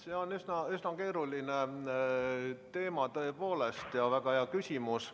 See on üsna keeruline teema, tõepoolest, ja väga hea küsimus.